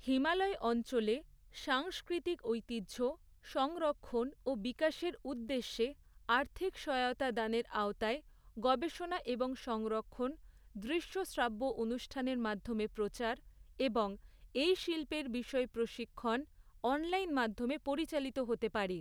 হিমালয় অঞ্চলে, সাংস্কৃতিক ঐতিহ্য, সংরক্ষণ ও বিকাশের উদ্দেশ্যে, আর্থিক সহায়তা দানের আওতায়, গবেষণা এবং সংরক্ষণ, দৃশ্য শ্রাব্য অনুষ্ঠানের মাধ্যমে প্রচার, এবং এই শিল্পের বিষয়ে প্রশিক্ষণ, অনলাইন মাধ্যমে পরিচালিত হতে পারে।